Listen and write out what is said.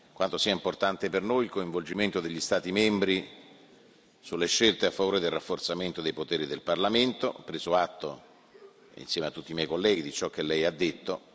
quanto sia importante per noi il coinvolgimento degli Stati membri sulle scelte a favore del rafforzamento dei poteri del Parlamento. Ho preso atto, insieme a tutti i miei colleghi, di ciò che Lei ha detto.